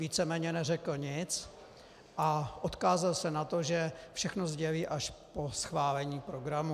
Víceméně neřekl nic a odkázal se na to, že všechno sdělí až po schválení programu.